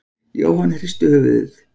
Jóhann hristi höfuðið.